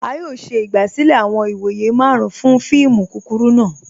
A yọ̀ọ̀ ṣẹ igbasilẹ̀ awọn ìwọ̀yẹ̀ màrùn fún fíìmù kúkúrù náà